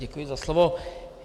Děkuji za slovo.